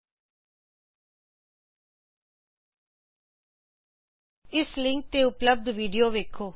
ਇਸ ਲਿੰਕ ਤੇ ਉਪਲਬਦ ਵਿਡੀਓ ਦੇਖੋ httpspoken tutorialorgWhat is a spoken tutorial